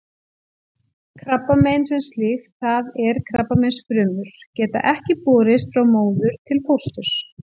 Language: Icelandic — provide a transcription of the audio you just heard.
Krabbamein sem slíkt, það er krabbameinsfrumur, geta ekki borist frá móður til fósturs.